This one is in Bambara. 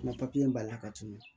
N ka b'an la ka tɛmɛ